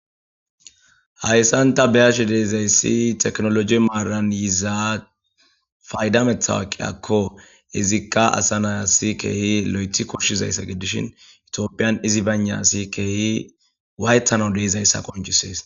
hayssanta beyashe deezayssi teknoloji maaran yizaa faydamethawaqiy akko izikqa asa nayasi keehi lo7ethi koshshizayssa gidishin itiophiyan izi banasi keehi waytano deezayssa qonchisees